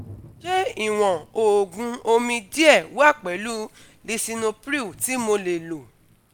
Ṣé ìwọ̀n òògùn omi díẹ̀ wà pẹ̀lú lisinopril tí mo lè lò?